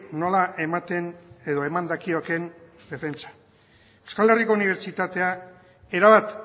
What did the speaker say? nola ematen edo eman dakiokeen defentsa euskal herriko unibertsitatea erabat